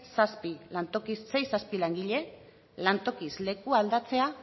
zazpi lantoki sei zazpi langile lantokiz leku aldatzea